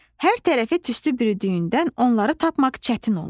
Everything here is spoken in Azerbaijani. Hər tərəfi tüstü bürüdüyündən onları tapmaq çətin olur.